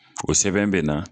O sɛbɛn bɛ na